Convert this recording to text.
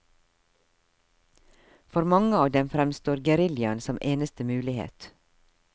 For mange av dem fremstår geriljaen som eneste mulighet.